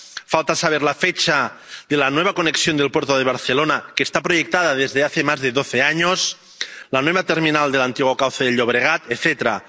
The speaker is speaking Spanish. falta saber la fecha de la nueva conexión del puerto de Barcelona, que está proyectada desde hace más de doce años, la nueva terminal del antiguo cauce del Llobregat, etcétera.